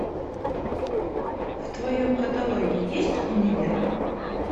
в твоем каталоге есть универ